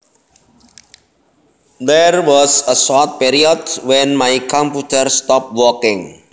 There was a short period when my computer stopped working